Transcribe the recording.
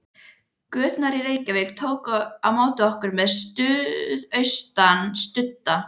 Göturnar í Reykjavík tóku á móti okkur með suðaustan sudda.